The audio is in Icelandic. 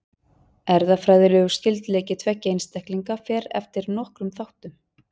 Erfðafræðilegur skyldleiki tveggja einstaklinga fer eftir nokkrum þáttum.